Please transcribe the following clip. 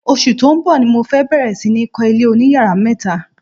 Oṣù tó ń bọ̀ ni mo fẹ́ bẹ̀rẹ̀ sí ní kọ́ ilé oníyàrá mẹ́ta.